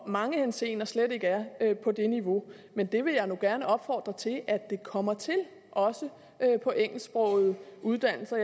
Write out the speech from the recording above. mange henseender slet ikke er på det niveau men det vil jeg nu gerne opfordre til at den kommer også på engelsksprogede uddannelser